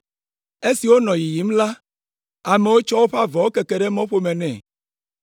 Esi wònɔ yiyim la, amewo tsɔ woƒe avɔwo keke ɖe mɔƒome nɛ.